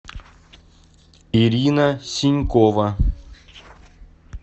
ирина сенькова